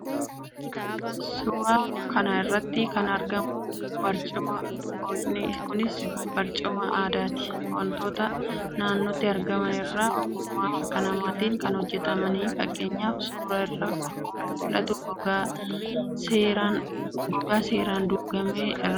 Suuraa kana irratti kan argamu barcumadha. Barcumni kunis barcuma aadaati. Wantoota naannootti argaman irraa ogummaa harka namaatiin kan hojjetamuudha. Fakkeenyaaf: suuraa irraa akkuma mul'atu gogaa seeraan duugame irraafi muka irraa hojjetamuu danda'a.